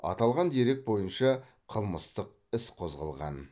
аталған дерек бойынша қылмыстық іс қозғалған